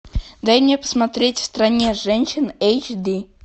дай мне посмотреть в стране женщин эйч ди